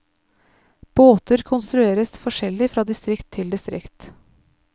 Båter konstrueres forskjellig fra distrikt til distrikt.